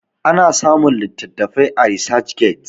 ana samun litattafai a research get